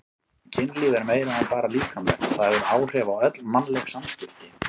Kynlíf er meira en bara líkamlegt, það hefur áhrif á öll mannleg samskipti.